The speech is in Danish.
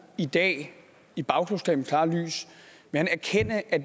i dag i bagklogskabens klare lys erkende at